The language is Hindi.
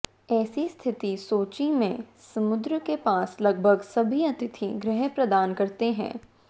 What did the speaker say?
ऐसी स्थिति सोची में समुद्र के पास लगभग सभी अतिथि गृह प्रदान करते हैं